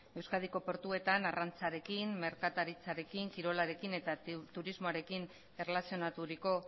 euskadiko portuetan arrantzarekin merkataritzarekin kirolarekin eta turismoarekin erlazionaturiko